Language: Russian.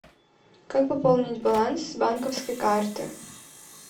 как пополнить баланс с банковской карты